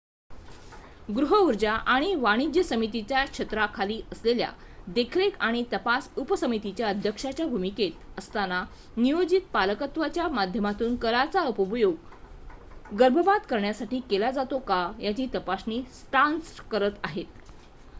गृहऊर्जा आणि वाणिज्य समितीच्या छत्राखाली असलेल्या देखरेख आणि तपास उपसमितीच्या अध्यक्षाच्या भूमिकेत असताना नियोजित पालकत्वाच्या माध्यमातून करांचा उपयोग गर्भपात करण्यासाठी केला जातो का याची तपासणी स्टार्न्स करत आहेत